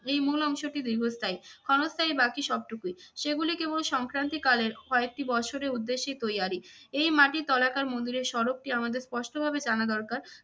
এই মূল অংশটি দীর্ঘস্থায়ী, ক্ষণস্থায়ী বাকি সব টুকুই। সেগুলি কেবল সংক্রান্তি কালের কয়েকটি বৎসরের উদ্দেশ্যে তৈয়ারি। এই মাটির তলাকার মন্দিরের স্বরূপটি ‌আমাদের স্পষ্টভাবে জানা দরকার